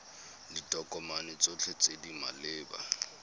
ditokomane tsotlhe tse di maleba